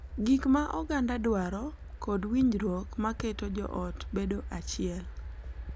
Gik ma oganda dwaro, kod winjruok ma keto joot bedo achiel.